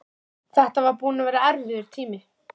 Þetta væri búinn að vera erfiður tími.